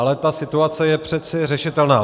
Ale ta situace je přece řešitelná.